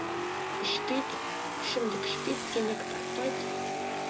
ішпейді ішімдік ішпейді темекі тартпайды